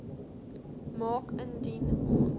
maak indien ons